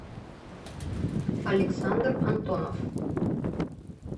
александр антонов